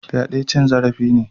Fyade cin zarafi ne.